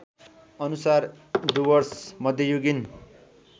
अनुसार डुवर्स मध्ययुगीन